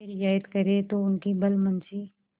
यह रियायत करें तो उनकी भलमनसी